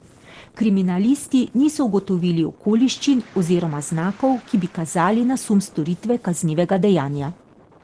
Kriminalisti niso ugotovili okoliščin oziroma znakov, ki bi kazali na sum storitve kaznivega dejanja.